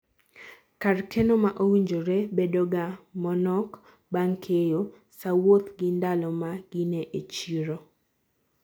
kar keno ma owinjore bedo ga mo nok bang keyo, saa wuoth gi ndalo ma gine e chiro